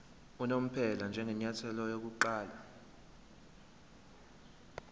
unomphela njengenyathelo lokuqala